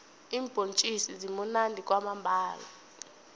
iimbhontjisi zimunandi kwamambhala